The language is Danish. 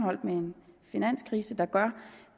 med finanskrisen gør